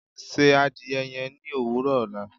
Ṣé àdìẹ̀ yẹn ni owurọ ọla